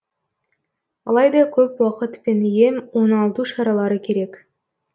алайда көп уақыт пен ем оңалту шаралары керек